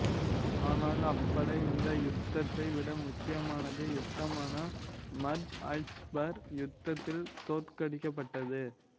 ஆனால் அப்படை இந்த யுத்தத்தை விட முக்கியமான யுத்தமான மர்ஜ் அல்சபர் யுத்தத்தில் தோற்கடிக்கப்பட்டது